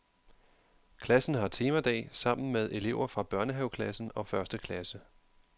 Klassen har temadag sammen med elever fra børnehaveklassen og første klasse.